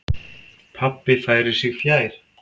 Pabbi færir sig fjær.